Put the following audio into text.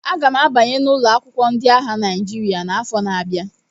Aga m abanye n'ụlọ akwụkwọ ndị agha Naịjirịa n'afọ na-abia